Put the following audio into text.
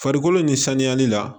Farikolo nin sanuyani la